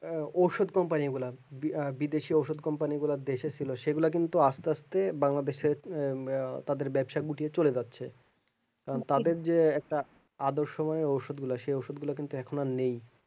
আহ ঔষধ company গুলা বিবিদেশি ওষুধ company গুলা দেশে ছিল সেগুলা কিন্তু আস্তে আস্তে বাংলাদেশ ছেড়ে আহ তাদের ব্যবসা গুটিয়ে চলে যাচ্ছে তাদের যে একটা আদর্শময় ওষুধ গুলো সেই ওষুধ গুলা কিন্তু এখন আর নেই